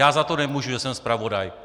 Já za to nemůžu, že jsem zpravodaj.